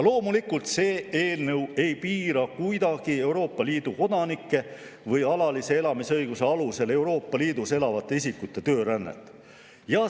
Loomulikult, see eelnõu kuidagi ei piira Euroopa Liidu kodanike või alalise elamisõiguse alusel Euroopa Liidus elavate isikute töörännet.